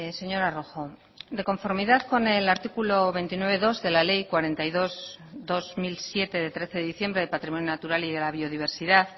señora rojo de conformidad con el artículo veintinueve punto dos de la ley cuarenta y dos barra dos mil siete de trece de diciembre de patrimonio natural y de la biodiversidad